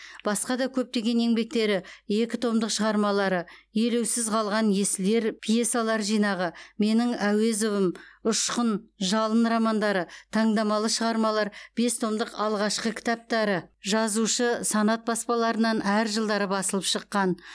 басқа да көптеген еңбектері екі томдық шығармалары елеусіз қалған есіл ер пьесалар жинағы менің әуезовым ұшқын жалын романдары таңдамалы шығармалар бес томдық алғашқы кітаптары жазушы санат баспаларынан әр жылдары басылып шыққан